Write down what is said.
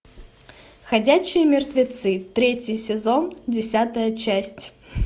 ходячие мертвецы третий сезон десятая часть